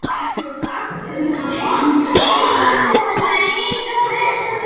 Það sem varð ekki og hitt sem varð